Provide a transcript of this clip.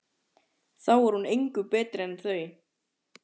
Þá er hún engu betri en þau.